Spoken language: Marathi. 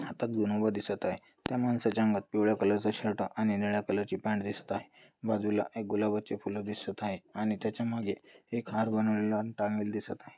हातात घेऊन उभा दिसत आहे त्या माणसाच्या अंगात पिवळ्या कलर चा शर्ट आणि निळ्या कलर ची पॅंट दिसत आहे बाजूला एक गुलाबाचे फुल दिसत आहे आणि त्याच्यामागे एक हार बनवलेला अन टांगलेला दिसत आहे.